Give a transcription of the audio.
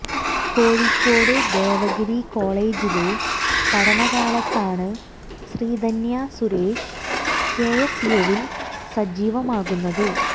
കോഴിക്കോട് ദേവഗിരി കോളേജിലെ പഠനകാലത്താണ് Sreedhanya Suresh K S യുവിൽ സജീവമാകുന്നത്